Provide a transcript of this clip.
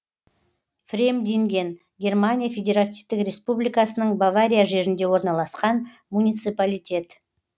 фремдинген германия федеративтік республикасының бавария жерінде орналасқан муниципалитет